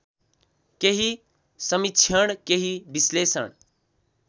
केही समीक्षण केही विश्लेषण